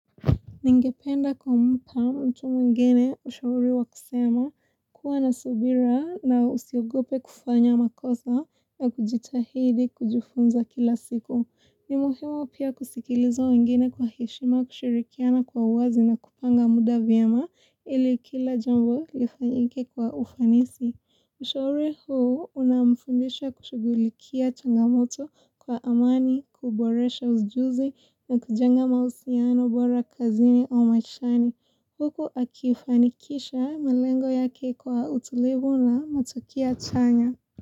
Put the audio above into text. Ningependa kumpa mtu mwingine ushauri wa kusema kuwa na subira na usiogope kufanya makosa na kujitahidi kujifunza kila siku. Ni muhimu pia kusikiliza wengine kwa heshima kushirikiana kwa uwazi na kupanga muda vyema ili kila jambo lifanyike kwa ufanisi. Ushauri huu unamfundisha kushughulikia changamoto kwa amani, kuboresha ujuzi na kujenga mahusiano bora kazini au maishani. Huku akifanikisha malengo yake kwa utulivu na matukio chanya.